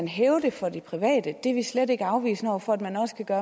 hæve det for de private det er vi slet ikke afvisende over for man også kan